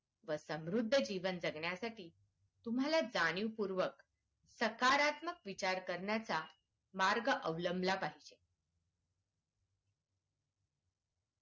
व समृद्ध जीवन जगण्यासाठी तुम्हाला जाणीवपूर्वक सकारात्मक विचार करण्याचा मार्ग अवलंबला पाहिजे.